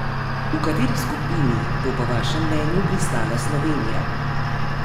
V kateri skupini bo po vašem mnenju pristala Slovenija?